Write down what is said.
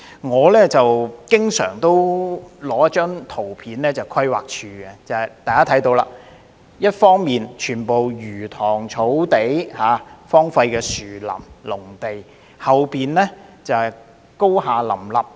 我經常展示規劃署的一張圖片，大家可以看到，全部是魚塘、草地、荒廢的樹林和農地，但後面卻高廈林立。